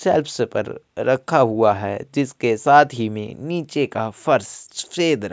self पर रखा हुआ है जिसके साथ ही में नीचे का फर्श छिद्र --